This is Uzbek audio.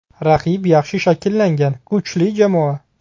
Raqib yaxshi shakllangan, kuchli jamoa.